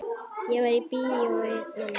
Ég var í bíói mamma.